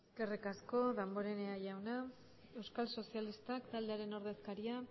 eskerrik asko damborenea jauna euskal sozialistak taldearen ordezkaria